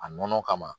A nɔnɔ kama